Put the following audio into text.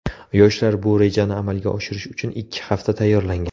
Yoshlar bu rejani amalga oshirish uchun ikki hafta tayyorlangan.